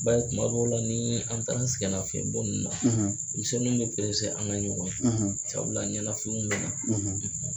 I b'a ye tuma dɔw la ni an taara an sɛgɛnnafiɲɛnbɔ ninnu na denmisɛnniw bɛ perese an ka ɲɔgɔn ye sabula ɲɛnafinw bɛ na.